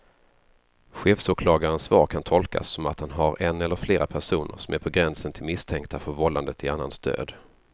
Chefsåklagarens svar kan tolkas som att han har en eller flera personer som är på gränsen till misstänkta för vållande till annans död.